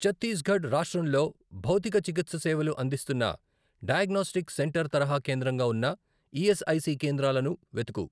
ఛత్తీస్ గఢ్ రాష్ట్రంలో భౌతికచికిత్ససేవలు అందిస్తున్న డయాగ్నోస్టిక్ సెంటర్ తరహా కేంద్రంగా ఉన్న ఈఎస్ఐసి కేంద్రాలను వెతుకు